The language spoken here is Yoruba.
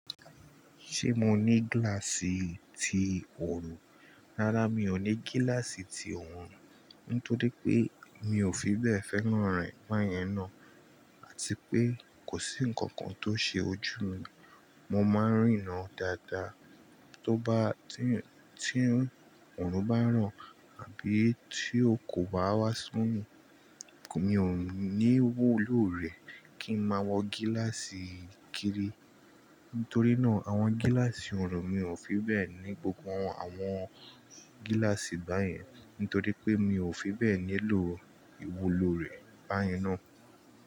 Ṣé mo ní gíláàsì ti òòrùn? Rárá, mi ò ní gíláàsì ti òòrùn, nítorí pé mi mio fi bẹ́ẹ̀ fẹ́ràn rẹ̀ báyẹn ná, àti pé kò sí ǹkankan tó ṣe ojú mi. Mo máa ń rína dáadáa to ba. Tí òòrùn bá ràn àbí tí ọkọ̀ bá wá sún mi, mi ò ní wòlò rẹ̀ kí n máa wọ gíláàsì kiri. Nítorí náà, àwọn gíláàsì òòrùn mi ò fi bẹ́ẹ̀ ní gbogbo àwọn gíláàsì báyẹn, nítorí pé mi ò fi bẹ́ẹ̀ nílò ìwúlò rẹ̀ báyẹn ná.